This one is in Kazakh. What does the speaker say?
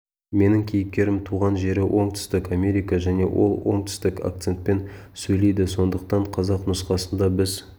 менің кейіпкерім туған жері оңтүстік америка және ол оңтүстік акцентпен сөйлейді сондықтан қазақ нұсқасында біз